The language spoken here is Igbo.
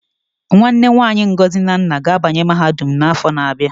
Nwanne nwanyi Ngozi na nna ga-abanye mahadum n'afọ na-abịa.